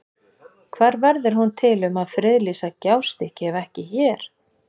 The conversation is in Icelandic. Hvar verður hún til um að friðlýsa Gjástykki ef ekki hér?